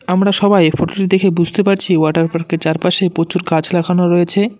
আমরা সবাই এই ফটোটি দেখে বুঝতে পারছি ওয়াটার পার্কের চারপাশে পচুর গাছ লাগানো রয়েছে।